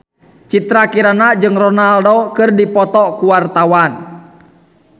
Citra Kirana jeung Ronaldo keur dipoto ku wartawan